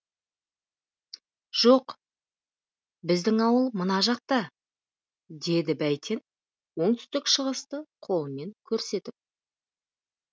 жоқ біздің ауыл мына жақта деді бәйтен оңтүстік шығысты қолымен көрсетіп